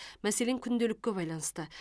мәселен күнделікке байланысты